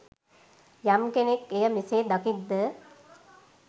යම් කෙනෙක් එය මෙසේ දකිත්ද